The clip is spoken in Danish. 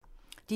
DR1